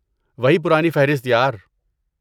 وہی پرانی فہرست، یار۔